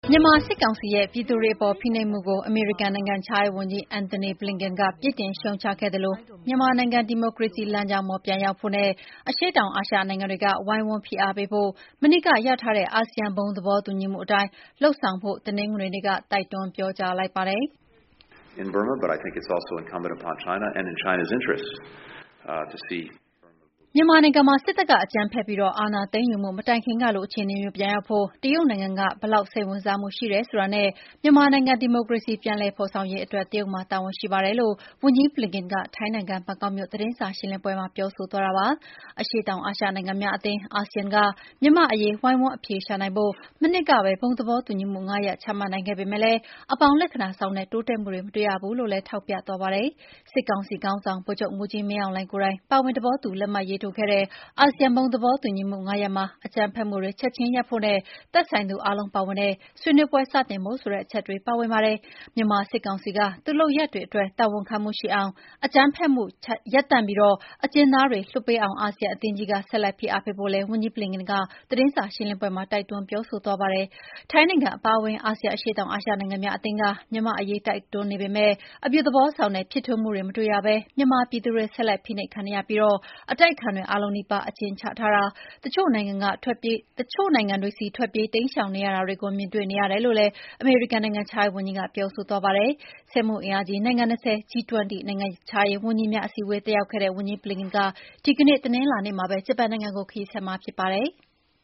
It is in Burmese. မြန်မာစစ်ကောင်စီရဲ့ပြည်သူတွေအပေါ် ဖိနှိပ်မှုကို အမေရိကန်နိုင်ငံခြားရေးဝန်ကြီး Antony Blinken က ပြစ်တင်ရှုတ်ချခဲ့သလို မြန်မာနိုင်ငံဒီမိုကရေစီလမ်းကြောင်းပေါ်ပြန်ရောက်ဖို့၊ တရုတ်အရှေ့တောင်အာရှနို်င်ငံတွေက ဝိုင်းဝန်းဖိအားပေးဖို့နဲ့ မနှစ်က ရထားတဲ့ အာဆီယံ ဘုံသဘောတူညီမှုအတိုင်း လုပ်ဆောင်ဖို့ တနင်္ဂနွေနေ့မှာ တိုက်တွန်းပြောဆိုလိုက်ပါတယ်။ “ မြန်မာနိုင်ငံမှာ စစ်တပ်က အကြမ်းဖက်ပြီး အာဏာသိမ်းယူမှုမတိုင်ခင်ကလို အခြေအနေ မျိုးပြန်ရောက်ဖို့ တရုတ်နိုင်ငံက ဘယ်လောက်စိတ်ဝင်စားမှုရှိတယ်ဆိုတာနဲ့ မြန်မာနိုင်ငံဒီမိုကရေစီ ပြန်လည်ဖေါ် ဆောင်ရေးအတွက် တရုတ်မှာတာဝန်ရှိတယ် လို့ဝန်ကြီး Blinken က ထိုင်းနိုင်ငံ ဘန်ကောက်မြို့ သတင်းစာရှင်းလင်းပွဲမှာ ပြောဆိုသွားတာပါ။ အရှေ့တောင်အာရှနိုင်ငံများအသင်း အာဆီယံက မြန်မာ့အရေးဝိုင်းဝန်းအဖြေရှာနိုင်ဖို့ မနှစ်ကပဲ ဘုံသဘောတူညီမှု ၅ရပ်ချမှတ်နိုင်ခဲ့ပေမယ့် အပေါင်း လက္ခဏာဆောင်တဲ့တိုးတက်မှုတွေမတွေ့ရဘူးလို့လည်း ထောက်ပြသွားပါတယ်။ စစ်ကောင်စီခေါင်းဆောင် ဗိုလ်ချုပ်မှူးကြီးမင်းအောင်လှိုင်ကိုယ်တိုင်ပါဝင်သဘောတူလက်မှတ်ရေးထိုးခဲ့တဲ့ အာဆီယံဘုံသဘောတူညီမှု ၅ ရပ်မှာ အကြမ်းဖက်မှုတွေချက်ချင်းရပ်ဖို့နဲ့ သက်ဆိုင်သူအားလုံးပါဝင်တဲ့ ဆွေးနွေးပွဲစတင်ဖို့ ဆိုတဲ့အချက်တွေပါဝင်ပါတယ်။ မြန်မာစစ်ကောင်စီက သူ့လုပ်ရပ်တွေအတွက် တာဝန်ခံမှုရှိအောင်၊ အကြမ်းဖက်မှုလျော့ချပြီး အကျဉ်းသားတွေ လွှတ်ပေးအောင် အာဆီယံအသင်းကြီးက ဆက်လက်ဖိအားပေးဖို့လည်း ဝန်ကြီး Blinken ကသတင်းစာရှင်းလင်းပွဲမှာ တိုက်တွန်းပြောဆိုသွားပါတယ်။ ထိုင်းနိုင်ငံအပါအဝင် အာဆီယံ အရှေ့တောင်အာရှနိုင်ငံများအသင်းက မြန်မာ့အရေး တွန်းအားပေးနေပေမဲ့ အပြုသဘောဆောင်တဲ့ ဖြစ်ထွန်းမှုတွေ မတွေ့ရဘဲ မြန်မာပြည်သူတွေ ဆက်လက်ဖိနှိပ်ခံနေပြီး၊ အတိုက်အခံတွေအားလုံးနီးပါး အကျဉ်းချထားတာ၊ တချို့နိုင်ငံက ထွက်ပြေးတိမ်းရှောင်နေရတာတွေကို မြင်တွေ့နေရတယ်လို့လည်း အမေရိကန်နိုင်ငံခြားရေးဝန်ကြီး Blinken က ပြောဆိုသွားပါတယ်။ စက်မှုအင်အားကြီး နိုင်ငံ ၂၀၊ G 20 နိုင်ငံခြားရေးဝန်ကြီးများအစည်းတက်ရောက်ခဲ့တဲ့ ဝန်ကြီး Blinken ဟာ ဒီကနေ့တနင်္လာနေ့မှာပဲ ဂျပန်နိုင်ငံကိုခရီးဆက်မှာဖြစ်ပါတယ်။